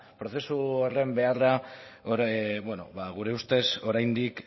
prozesu horren beharra gure ustez oraindik